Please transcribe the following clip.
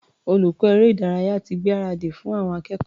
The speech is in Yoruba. Olùkọ́ eré-ìdárayá ti gbáradì fún àwọn akẹ́kọ̀ọ́.